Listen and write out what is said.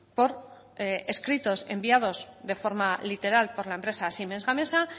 por escritos enviados de forma literal por la empresa siemens gamesa